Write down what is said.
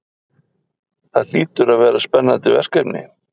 Það hlýtur að vera spennandi verkefni?